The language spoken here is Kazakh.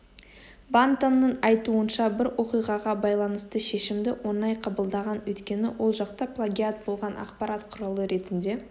бантонның айтуынша бір оқиғаға байланысты шешімді оңай қабылдаған өйткені ол жақта плагиат болған ақпарат құралы ретінде